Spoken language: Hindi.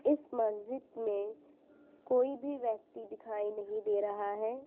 इस मस्जिद में कोई भी व्यक्ति दिखाई नहीं दे रहा है ।